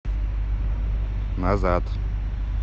назад